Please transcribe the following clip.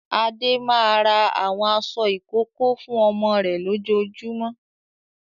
Adé máa ra àwọn aṣọ ìkókó fún ọmọ rẹ̀ lójoojúmọ́.